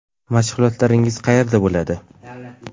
Mashg‘ulotlaringiz qayerda bo‘ladi?